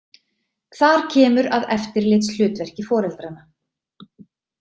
Þar kemur að eftirlitshlutverki foreldranna.